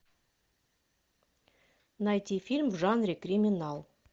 найти фильм в жанре криминал